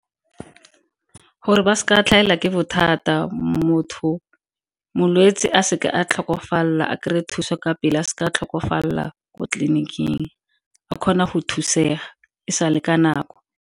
Gore ba seka tlhagelwa ke bothata, molwetse a seka a tlhokofala a kry-e thuso ka pele a seka a tlhokofalela ko tleliniking. A kgona go thusega e sale ka nako.